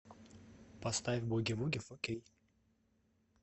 поставь буги вуги фо кей